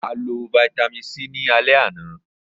A lọ Vitamin c ni alẹ ana.